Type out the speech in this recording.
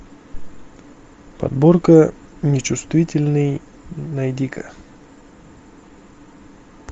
подборка нечувствительный найди ка